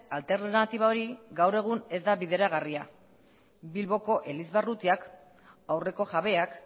alternatiba hori gaur egun ez da bideragarria bilboko elizbarrutiak aurreko jabeak